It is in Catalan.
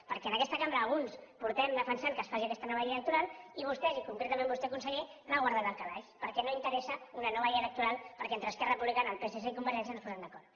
perquè en aquesta cambra alguns portem defensant que es faci aquesta nova llei electoral i vostès i concretament vostè conseller l’ha guardada al calaix perquè no interessa una nova llei electoral perquè entre esquerra republicana el psc i convergència no es posen d’acord